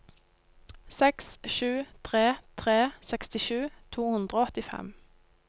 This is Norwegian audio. seks sju tre tre sekstisju to hundre og åttifem